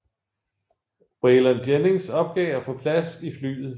Waylon Jennings opgav at få plads i flyet